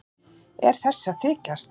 Er þessi að þykjast?